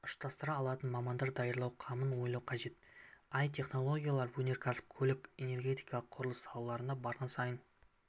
ұштастыра алатын мамандар даярлау қамын ойлау қажет і-технологиялар өнеркәсіп көлік энергетика құрылыс салаларына барған сайын